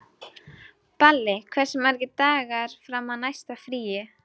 Balli, hversu margir dagar fram að næsta fríi?